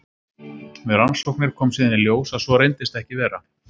Við rannsóknir kom síðan í ljós að svo reyndist ekki vera.